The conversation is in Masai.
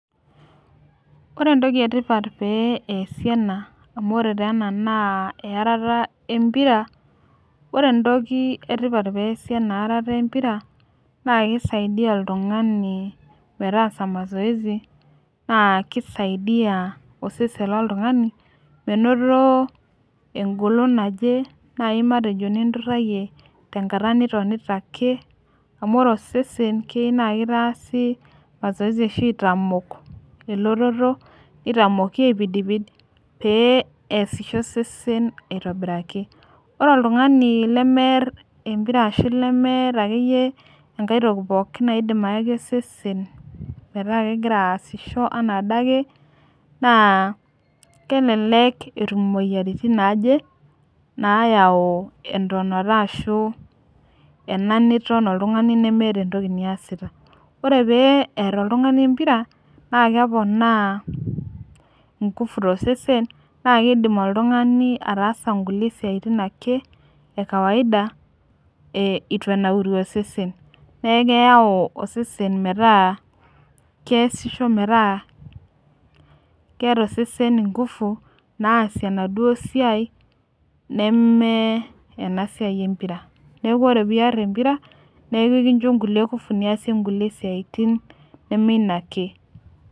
ore entoki etipat pee easi ena, amu ore tee ena na earata empira, ore entoki etipat peasi ena earata empira na kisaidia oltungani meetasa masoesi, na kisaidia osesen lontungani menoto engolon naje, nai matejo ninturayie, tenkata nitonita ake amu ore osesen na keyieu na kitasi mazoesi ashu aitamok eletoto nitamoki aipidipid peasisho osesen aitobiraki, ore oltungani lemiar empira ashu lemeta akeyie aitoki nayaki osesen meeta kengira asisho ena adake na kelelek etum imoyiaritin naje nayau entonata, ashu ena niton oltungani nemeeta entoki niasita, ore peee ear oltungani empira na kepona ingufu tosesen na kindim oltungani atasa ake inkulie siatin ake ekawaida etu enauru osesen, na keyau osesen meeta keyasisho meeta keeta osesen ingufu nasie enaduo siai, neme ena siai empira niaku piar empira niaku enkisho inkulie kufu niasie inkulie siatin neme ina ake.